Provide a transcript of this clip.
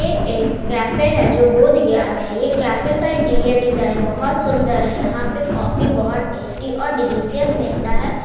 ये एक कैफ़े है जो बोधगया में है ये कैफे का इंटीरियर डिजाइन बहुत सुन्दर है यहाँ पे कॉफी बहुत टेस्टी और डिलिशियस मिलता है।